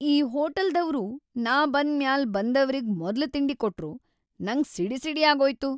ಈ ಹೋಟಲ್ದವ್ರು ನಾ ಬಂದ್‌ ಮ್ಯಾಲ್ ಬಂದವ್ರಿಗ ಮೊದ್ಲ್ ತಿಂಡಿ ಕೊಟ್ರು, ನಂಗ್ ಸಿಡಿಸಿಡಿಯಾಗೋಯ್ತು.